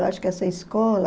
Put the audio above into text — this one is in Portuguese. Eu acho que essa escola